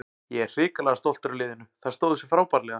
Ég er hrikalega stoltur af liðinu, þær stóðu sig frábærlega.